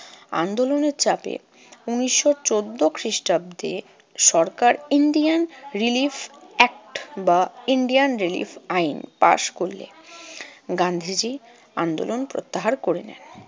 আন্দোলনের চাপে ঊনিশশো চৌদ্দ খ্রিষ্টাব্দে সরকার indian relief act বা ইন্ডিয়ার রিলিফ আইন পাস করলে গান্ধীজি আন্দোলন প্রত্যাহার করে নেন।